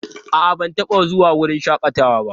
A'a, ban taɓa zuwa wurin shakatawa ba.